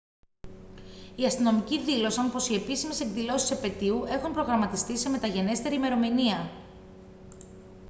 οι αστυνομικοί δήλωσαν πως οι επίσημες εκδηλώσεις της επετείου έχουν προγραμματιστεί σε μεταγενέστερη ημερομηνία